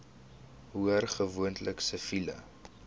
hoor gewoonlik siviele